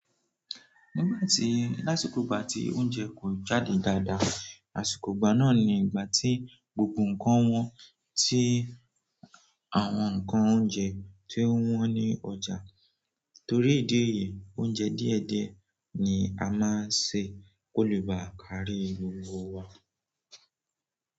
Nígbà tí lásìkò ìgbà tí oúnjẹ kò jáde dáadáa, àsìkò ìgbà náà ni ìgbà tí gbogbo nǹkan wọ́n ti àwọn nǹkan oúnjẹ tí ó wọ́n ní ọjà. Torí ìdí èyí, oúnjẹ díẹ̀díẹ̀ ni a máa ń ṣe kó lè bá kárí gbogbo wa.